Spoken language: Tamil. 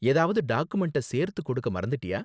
ஏதாவது டாக்குமெண்ட சேர்த்து கொடுக்க மறந்துட்டியா?